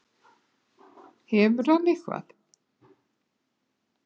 Hefur hann eitthvað.